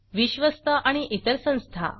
विश्वस्त आणि इतर संस्था